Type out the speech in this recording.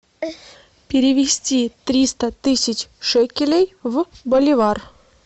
перевести триста тысяч шекелей в боливар